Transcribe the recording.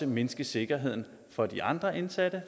mindske sikkerheden for de andre indsatte